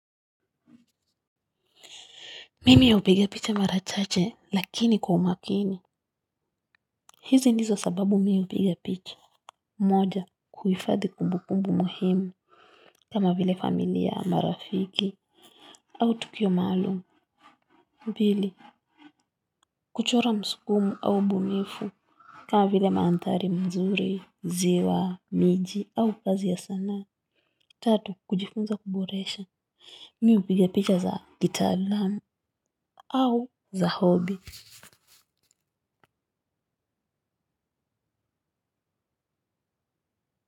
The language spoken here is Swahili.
Mimi hupiga picha mara chache lakini kwa umakini. Hizi ndizo sababu mimi hupiga picha. Moja kuhifadhi kumbukumbu muhimu kama vile familia marafiki au tukio maalum pili kuchora msukumo au ubunifu kama vile mandhari mazuri ziwa miji au kazi ya sanaa tatu kujifunza kuboresha, mimi hupiga picha za kitaalamu. Au za hobi.